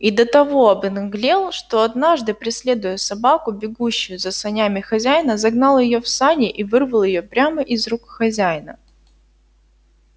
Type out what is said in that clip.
и до того обнаглел что однажды преследуя собаку бегущую за санями хозяина загнал её в сани и вырвал её прямо из рук хозяина